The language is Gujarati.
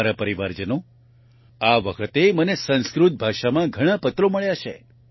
મારા પરિવારજનો આ વખતે મને સંસ્કૃત ભાષામાં ઘણા પત્રો મળ્યા છે